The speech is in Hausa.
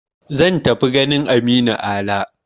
Zan tafi ganin Aminu Ala.